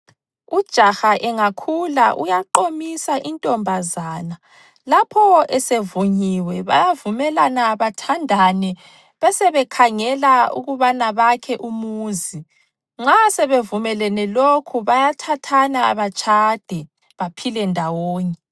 Ujaha engakhula uyaqomisa intombazana lapho esevunyiwe, bayavumelana bathandane, besebekhangela ukubana bakhe umuzi. Nxa sebevumelene lokhu bayathathana batshade, baphile ndawonye.